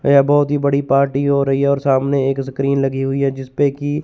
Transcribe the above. यहां बहोत ही बड़ी पार्टी हो रही हैं और सामने एक स्क्रीन लगी हुई हैं जिसपे की--